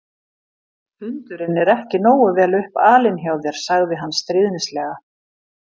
Hundurinn er ekki nógu vel upp alinn hjá þér sagði hann stríðnislega.